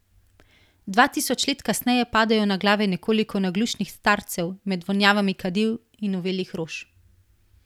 Dva tisoč let kasneje padajo na glave nekoliko naglušnih starcev, med vonjavami kadil in uvelih rož.